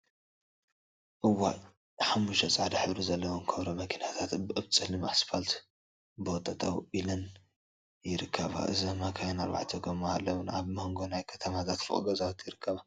እዋይ! ሓሙሽተ ፃዕዳ ሕብሪ ዘለወን ኮብራ መኪናታት አብ ፀሊም እስፓልት ቦ ጠጠወ ኢለን ይርከባ፡፡ እዛ መካኪን አርባዕተ ጎማ አለወን፡፡ አብ መንጎ ናይ ከተማታት ፎቅ ገዛውቲ ይርከባ፡፡